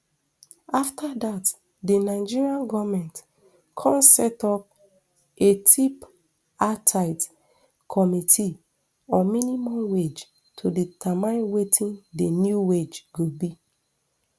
afta dat di nigeria goment come set up a tripartite committee on minimum wage to determine wetin di new wage go be